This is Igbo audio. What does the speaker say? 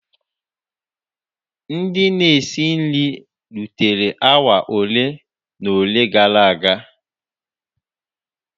] Ndị na-esi nri rutere awa ole na ole gara aga.